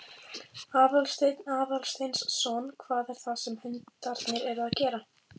Aðalsteinn Aðalsteinsson: Hvað er það sem hundarnir eru að gera?